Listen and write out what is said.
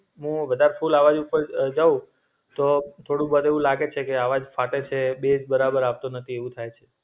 હું વધારતું લાવા યુસ કરું છુ એમ કવ, તો થોડું બધું લાગે છે કે અવાજ ફાટે છે બેઝ બરાબર આપતો નથી એવું થાય છે.